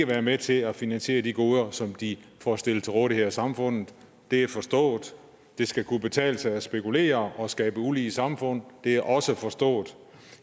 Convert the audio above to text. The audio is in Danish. være med til at finansiere de goder som de får stillet til rådighed af samfundet det er forstået det skal kunne betale sig at spekulere og skabe ulige samfund det er også forstået